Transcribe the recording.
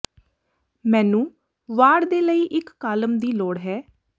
ਮੈਨੂੰ ਵਾੜ ਦੇ ਲਈ ਇੱਕ ਕਾਲਮ ਦੀ ਲੋੜ ਹੈ